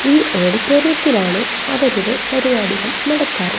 ഈ ഓഡിറ്റോറിയത്തിലാണ് അവരുടെ പരിപാടികൾ നടത്താറ്.